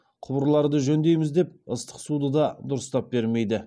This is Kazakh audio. құбырларды жөндейміз деп ыстық суды да дұрыстап бермейді